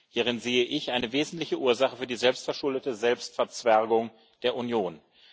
Hierin sehe ich eine wesentliche Ursache für die selbstverschuldete Selbstverzwergung der Union.